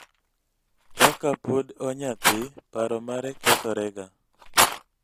kaka pod onyathii, paro mare kethorega